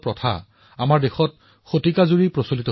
ৰংগোলীত দেশৰ বৈচিত্ৰ্যৰ দৃষ্টিভংগী প্ৰদৰ্শিত হয়